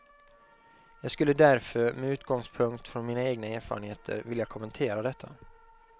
Jag skulle därför, med utgångspunkt från mina egna erfarenheter, vilja kommentera detta.